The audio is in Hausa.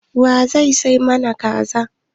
Wa zai sai mana Kaza.